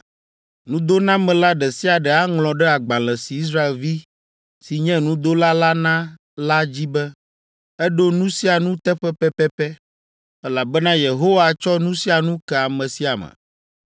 Nudonamela ɖe sia ɖe aŋlɔ ɖe agbalẽ si Israelvi si nye nudola la na la dzi be, ‘Eɖo nu sia nu teƒe pɛpɛpɛ,’ elabena Yehowa tsɔ nu sia nu ke ame sia ame.